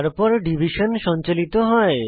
তারপর ডিভিশন সঞ্চালিত হয়